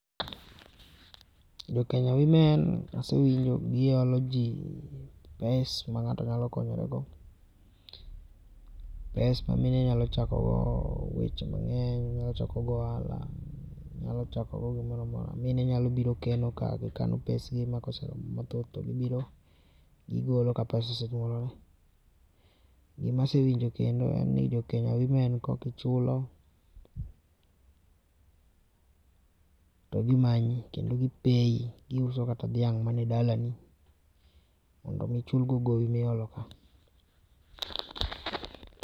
Jo kenya women asewinjo gi olo ji pes ma ng'ato nyalo konyorego. Pes ma mine nyalo chako go weche mang'eny, nyalo chako go ohala, nyalo chako gi moro amora. Mine nyalo biro kelo pesgi ma ka oseromo mathoth to gi biro gi golo ka pesa osenyuolore. Gi ma asewinjo kendo en ni jo Kenya women kok ichulo to gibiro gi manyi kendo gi peyi, gi uso kata dhiang' man dalani mondo mi chulgo go gowi mi olo.